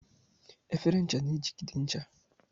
Efere ncha na-ejigide ncha.